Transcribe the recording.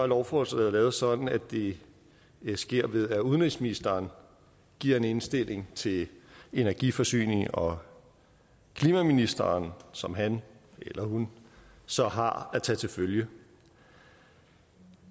lovforslaget lavet sådan at det sker ved at udenrigsministeren giver en indstilling til energi forsynings og klimaministeren som han eller hun så har at tage til følge